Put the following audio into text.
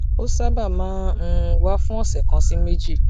ó sábà máa ń um wà fún òsè kan sí méjì